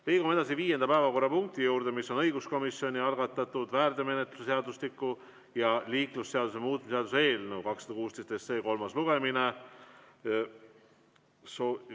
Liigume viienda päevakorrapunkti juurde: õiguskomisjoni algatatud väärteomenetluse seadustiku ja liiklusseaduse muutmise seaduse eelnõu 216 kolmas lugemine.